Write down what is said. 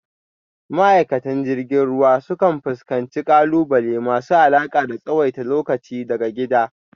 Ma’aikatan jirgin ruwa sukan fuskanci ƙalubale masu alaƙa da tsawaita lokaci daga gida,